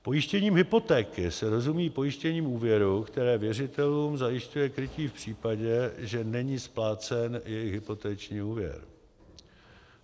Pojištěním hypotéky se rozumí pojištění úvěru, které věřitelům zajišťuje krytí v případě, že není splácen jejich hypoteční úvěr.